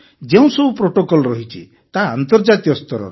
ଯେଉଁସବୁ ପ୍ରୋଟୋକଲ୍ ରହିଛି ତାହା ଆନ୍ତର୍ଜାତୀୟ ସ୍ତରର